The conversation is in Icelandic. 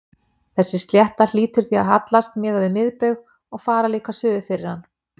Þessi slétta hlýtur því að hallast miðað við miðbaug og fara líka suður fyrir hann.